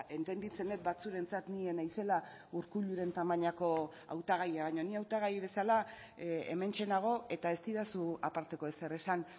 entenditzen dut batzuentzat ni ez naizela urkulluren tamainako hautagaia baina ni hautagai bezala hementxe nago eta ez didazu aparteko ezer esan